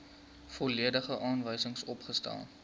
volledige aanwysings opgestel